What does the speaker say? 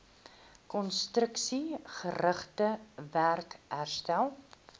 konstruksiegerigte werk herstel